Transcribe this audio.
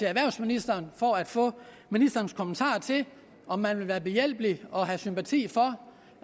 erhvervsministeren for at få ministerens kommentar til om man vil være behjælpelig og have sympati for